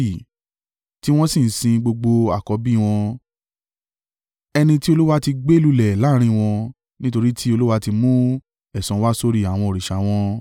Tí wọ́n sì ń sin gbogbo àkọ́bí wọn, ẹni tí Olúwa ti gbé lulẹ̀ láàrín wọn; nítorí tí Olúwa ti mú ẹ̀san wá sórí àwọn òrìṣà wọn.